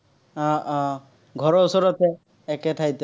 আহ আহ ঘৰৰ ওচৰতে। একে ঠাইত।